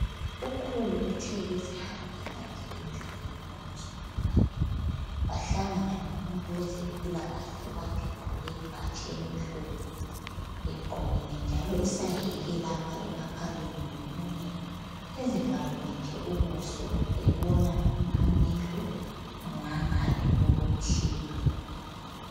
Ukhulu uthe ezihambela nje endleleni lomzukulu wakhe bahlangana lomuntu owezempilakahle okade egqoke ibhatshi elimhlophe egqokile njaloi saheke lapha emakhaleni lemlonyeni, ezivalile nje ubuso ebona amehlo ngangale kokuthile.